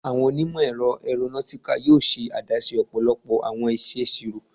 Awọn onimọ-ẹrọ Aeronautical yoo ṣe adaṣe ọpọlọpọ awọn iṣeṣiro